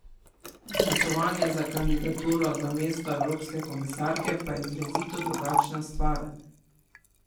Glasovanje za kandidaturo za mesto evropske komisarke pa je izrazito drugačna stvar.